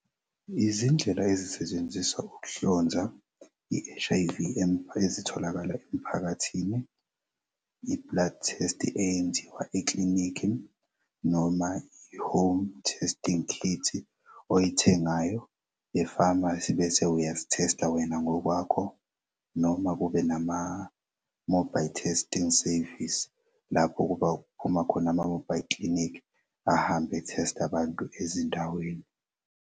Izindlela ezisetshenziswa ukuhlonza i-H_I_V ezitholakala emphakathini i-blood test eyenziwa eklinikhi noma i-home testing kit oyithengayo e-pharmacy bese uyazi-test-a wena ngokwakho noma kube nama-mobile testing service lapho kuphuma khona ama-mobile clinic ahambe ethesta abantu ezindaweni.